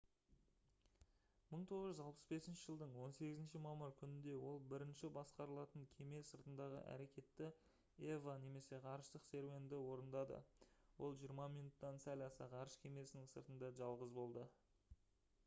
1965 жылдың 18 мамыр күнінде ол бірінші басқарылатын кеме сыртындағы әрекетті eva немесе «ғарыштық серуенді» орындады. ол жиырма минуттан сәл аса ғарыш кемесінің сыртында жалғыз болды